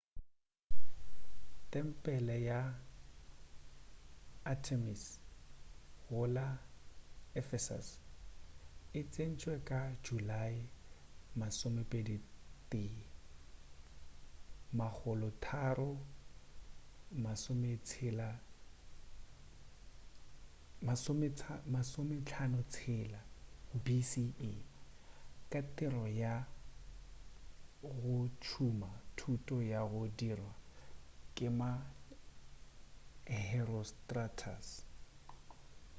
tempele ya artemis go la ephesus e sentšwe ka julae 21 356 bce ka tiro ya go tšhuma thoto ya go dirwa ke ma-herostratus